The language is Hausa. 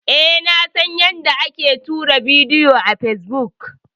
E, na san yanda ake tura bidiyo a fesbuk.